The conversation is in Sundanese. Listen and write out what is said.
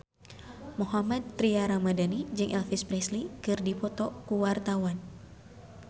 Mohammad Tria Ramadhani jeung Elvis Presley keur dipoto ku wartawan